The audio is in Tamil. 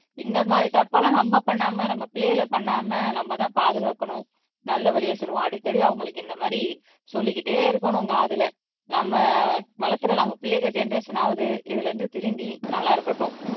இந்த மாதிரி தப்பு எல்லாம் நம்ம பண்ணாம நம்ம பிள்ளைகள பண்ணாம நம்மதான் பாதுகாக்கணும் நல்ல வழியை சொல்லுவோம் அடிக்கடி அவங்களுக்கு இந்த மாதிரி சொல்லிக்கிட்டே இருக்கணும் காதுல நம்ம வளர்க்கிற நம்ம பிள்ளைங்க ஜெனெரேஷன் ஆவது இதுல இருந்து திருந்தி நல்லா இருக்கட்டும்